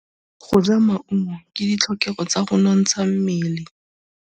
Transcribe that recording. Go ja maungo ke ditlhokegô tsa go nontsha mmele.